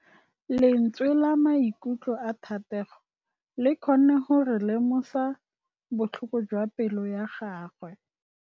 Lentswe la maikutlo a Thategô le kgonne gore re lemosa botlhoko jwa pelô ya gagwe.